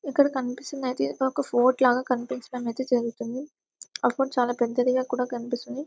ఇక్కడ కనిపిస్తుంది ఐతే ఇది ఒక ఫోర్ట్ లాగ కనిపించడం ఐతే జరుగుతుంది ఆ ఫోర్ట్ చాలా పెద్దదిగా కూడా కనిపిస్తుంది.